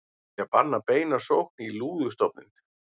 Vilja banna beina sókn í lúðustofninn